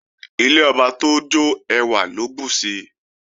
Ilé ọba tójó ẹwà ló bùsi